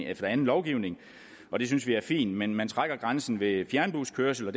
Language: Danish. efter anden lovgivning og det synes vi er fint men man trækker grænsen ved fjernbuskørsel og